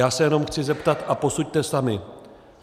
Já se jenom chci zeptat, a posuďte sami.